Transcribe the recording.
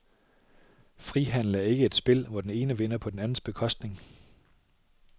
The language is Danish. Frihandel er ikke et spil, hvor den ene vinder på den andens bekostning.